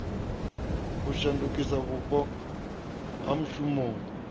u shandukisa vhupo ha mushumoni